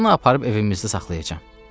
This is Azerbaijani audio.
Bunu aparıb evimizdə saxlayacam.